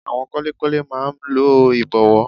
Àwọn kọ́lékọ́lé máa n lo ìbọ̀wọ́